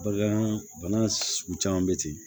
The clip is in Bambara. Bagan bana sugu caman bɛ ten